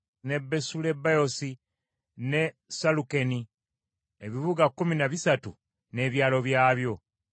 ne Besulebaosi ne Salukeni ebibuga kkumi na bisatu n’ebyalo byabyo.